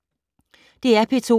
DR P2